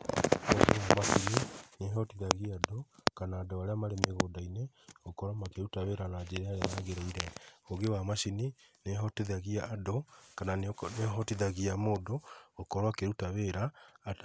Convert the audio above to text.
Ũũgĩ wa macini nĩ ũhotithagia andũ kana andũ arĩa marĩ mĩgũnda-inĩ gũkorwo makĩruta wĩra na njĩra ĩrĩa yagĩrĩire. Ũũgĩ wa macini nĩ ũhotithagia andũ kana nĩ ũhotithagia mũndũ gũkorwo akĩruta wĩra